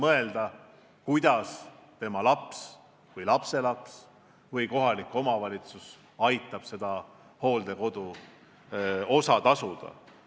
Ülejäänud päevade puhul tuleb mõelda, kas tema laps või lapselaps või kohalik omavalitsus ikka aitab hooldekodutasu maksta.